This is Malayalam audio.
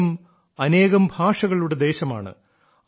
ഭാരതം അനേകം ഭാഷകളുടെ ദേശമാണ്